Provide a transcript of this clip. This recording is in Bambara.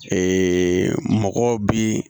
mɔgɔ bi